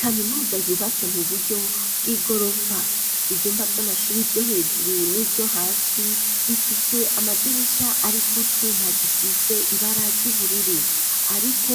Kaminuza yubatse mu buryo bw'igorofa ivyumba vy'amashure vyo hejuru n'ivyo hasi bifise amadirisha ari kw'utuma dusize ibara ry'ubururu ariko